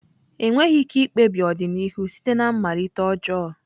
Enweghị ike ikpebi ọdịnihu site na mmalite ọjọọ.